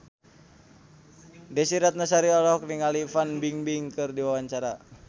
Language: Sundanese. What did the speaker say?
Desy Ratnasari olohok ningali Fan Bingbing keur diwawancara